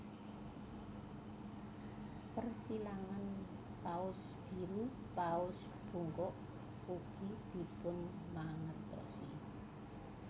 Persilangan paus biru paus bungkuk ugi dipunmangertosi